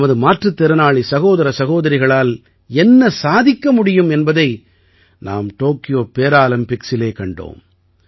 நமது மாற்றுத் திறனாளி சகோதர சகோதரிகளால் என்ன சாதிக்க முடியும் என்பதை நாம் டோக்கியோ பேராலிம்பிக்ஸிலே கண்டோம்